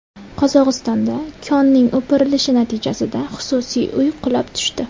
Qozog‘istonda konning o‘pirilishi natijasida xususiy uy qulab tushdi.